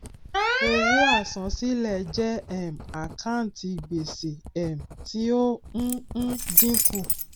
owó àsansílẹ jẹ um àkántì gbèsè um tí ó ń ń dínkù